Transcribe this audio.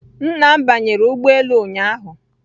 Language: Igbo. Nna m banyere ụgbọ elu ụnyahụ